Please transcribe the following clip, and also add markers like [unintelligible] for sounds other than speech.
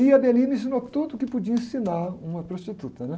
E a [unintelligible] me ensinou tudo o que podia ensinar uma prostituta, né?